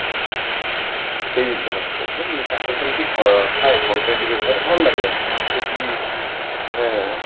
ହଁ ତାଙ୍କର ଯେମିତି ଥାଏ content ବିଷୟରେ ଭଲ ଲାଗେ ମାନେ ତାଙ୍କର ସେତିକି ଗୋଟେ